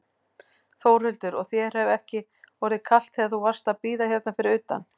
Þórhildur: Og þér hefur ekki orðið kalt þegar þú varst að bíða hérna fyrir utan?